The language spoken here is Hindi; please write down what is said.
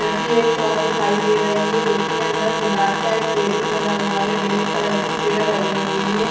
एक शॉप दिखाई दे रही है जिसके अंदर गिलास का एक टेबल बना हुआ है ब्लैक कलर की चेर लगी हुई है।